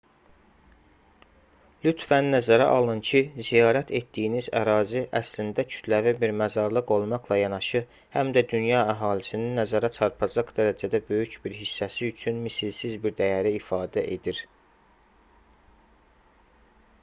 lütfən nəzərə alın ki ziyarət etdiyiniz ərazi əslində kütləvi bir məzarlıq olmaqla yanaşı həm də dünya əhalisinin nəzərə çarpacaq dərəcədə böyük bir hissəsi üçün misilsiz bir dəyəri ifadə edir